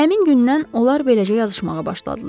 Həmin gündən onlar beləcə yazışmağa başladılar.